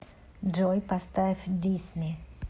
джой поставь дисми